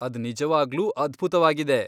ಅದ್ ನಿಜವಾಗ್ಲೂ ಅದ್ಭುತವಾಗಿದೆ.